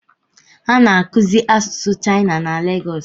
A na-akụzi asusụ shaịna na Legosi